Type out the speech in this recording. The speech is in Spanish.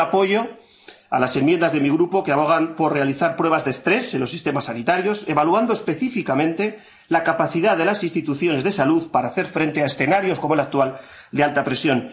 Pido el apoyo a las enmiendas de mi Grupo que abogan por realizar pruebas de estrés en los sistemas sanitarios, evaluando específicamente la capacidad de las instituciones de salud para hacer frente a escenarios como el actual, de alta presión.